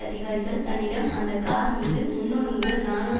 அதிகாரிகள் தன்னிடம் அந்த கார்மீது முன்னூறு முதல் நாநூறு